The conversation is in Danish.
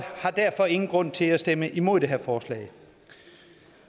har derfor ingen grund til at stemme imod det her forslag